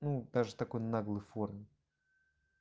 даже такой наглый форме